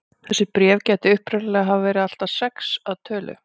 Þessi bréf gætu upprunalega hafa verið allt að sex að tölu.